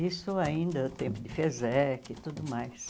Isso ainda no tempo de FESEC e tudo mais.